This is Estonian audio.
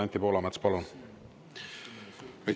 Anti Poolamets, palun!